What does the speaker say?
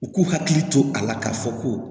U k'u hakili to a la k'a fɔ ko